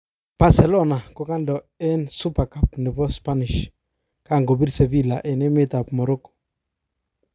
Bercelona kokando eng Super Cup nebo Spanish kan kobirb Sevilla en emet ab Morroco.